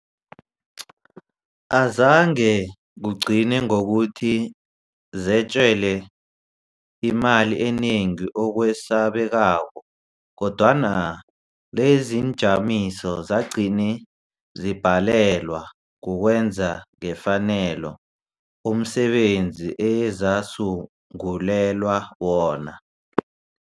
Azange kugcine ngokuthi zetjelwe imali enengi okwesabekako, kodwana leziinjamiso zagcina zibhalelwa kukwenza ngefanelo umsebenzi ezasungulelwa wona.